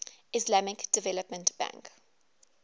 islamic development bank